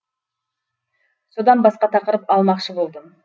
содан басқа тақырып алмақшы болдым